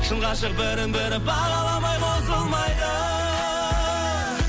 шын ғашық бірін бірі бағаламай қосылмайды